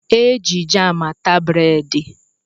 Eji jam ata breedi